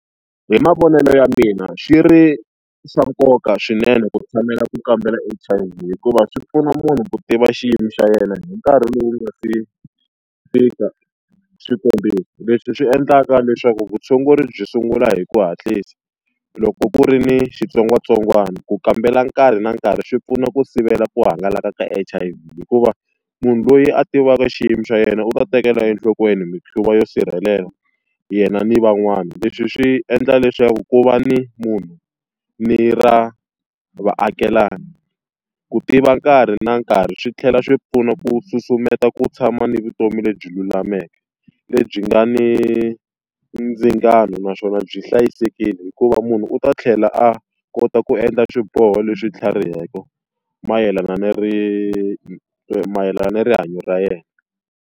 Hi mavonelo ya mina swi ri swa nkoka swinene ku tshamela ku kambela H_I_V hikuva swi pfuna munhu ku tiva xiyimo xa yena hi nkarhi lowu ku nga si fika swikombiso, leswi swi endlaka leswaku vutshunguri byi sungula hi ku hatlisa. Loko ku ri ni xitsongwatsongwana ku kambela nkarhi na nkarhi swi pfuna ku sivela ku hangalaka ka H_I_V hikuva munhu loyi a tivaka xiyimo xa yena u ta tekela enhlokweni mikhuva yo sirhelela yena ni van'wana, leswi swi endla leswaku ku va ni munhu ni ra vaakelani, ku tiva nkarhi na nkarhi swi tlhela swi pfuna ku susumeta ku tshama ni vutomi lebyi lulameke, lebyi nga ni ndzingano naswona byi hlayisekile. Hikuva munhu u ta tlhela a kota ku endla swiboho leswi tlhariheke mayelana ni mayelana na rihanyo ra yena.